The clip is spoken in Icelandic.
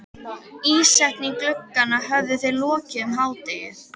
Ísetningu glugganna höfðu þeir lokið um hádegið.